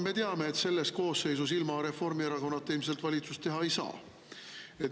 Me teame, et selles koosseisus ilma Reformierakonnata ilmselt valitsust teha ei saa.